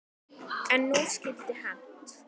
En nú skyldi hefnt.